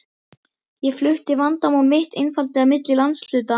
Ég flutti vandamál mitt einfaldlega milli landshluta.